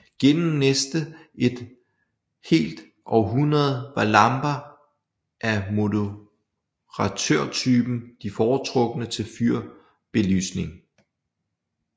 Gennem næste et helt århundrede var lamper af moderatørtypen de foretrukne til fyrbelysning